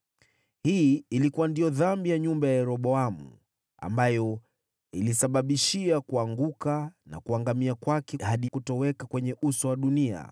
Hii ilikuwa ndiyo dhambi ya nyumba ya Yeroboamu ambayo iliisababishia kuanguka na kuangamia kwake hadi kutoweka kwenye uso wa dunia.